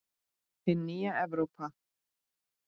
Hin nýja Evrópa!